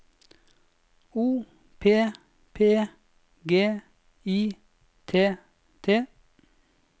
O P P G I T T